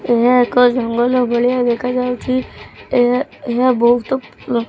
ଏହା ଏକ ଜଙ୍ଗଲ ଭଳିଆ ଦେଖାଯାଉଛି ଏହା ଏହା ବୋହୁତ--